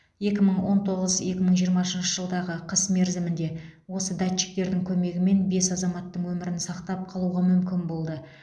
екі мың он тоғыз екі мың жиырмасыншы жылдағы қыс мерзімінде осы датчиктердің көмегімен бес азаматтың өмірін сақтап қалуға мүмкін болды